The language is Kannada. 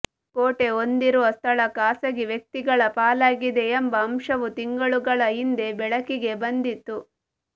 ಕೋಟೆ ಹೊಂದಿರುವ ಸ್ಥಳ ಖಾಸಗಿ ವ್ಯಕ್ತಿಗಳ ಪಾಲಾಗಿದೆ ಎಂಬ ಅಂಶವು ತಿಂಗಳುಗಳ ಹಿಂದೆ ಬೆಳಕಿಗೆ ಬಂದಿತ್ತು